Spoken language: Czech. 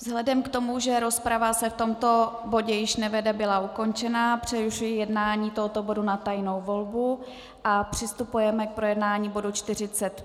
Vzhledem k tomu, že rozprava se v tomto bodě již nevede, byla ukončena, přerušuji jednání tohoto bodu na tajnou volbu a přistupujeme k projednání bodu